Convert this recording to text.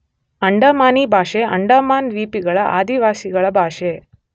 ಅಂಡಮಾನಿ ಭಾಷೆ, ಅಂಡಮಾನ್ ದ್ವೀಪಗಳ ಆದಿವಾಸಿಗಳ ಭಾಷೆ.